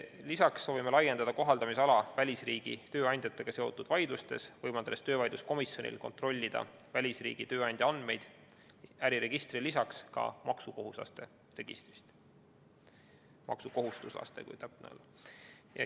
Lisaks soovime laiendada kohaldamisala välisriigi tööandjatega seotud vaidlustes, võimaldades töövaidluskomisjonil kontrollida välisriigi tööandja andmeid äriregistrile lisaks ka maksukohustuslaste registrist.